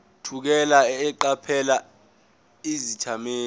thukela eqaphela izethameli